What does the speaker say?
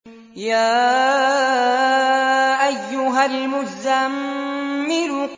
يَا أَيُّهَا الْمُزَّمِّلُ